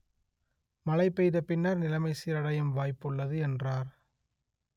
மழை பெய்த பின்னர் நிலைமை சீரடையும் வாய்ப்புள்ளது என்றார்